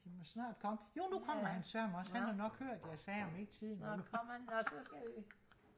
der må snart komme jo nu kommer han sørme også han har nok hørt at jeg sagde om ikke tiden var ude